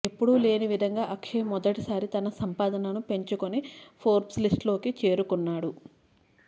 ఎప్పుడు లేని విధంగా అక్షయ్ మొదటిసారి తన సంపాదనను పెంచుకొని ఫోర్బ్స్ లిస్ట్ లోకి చేరుకున్నాడు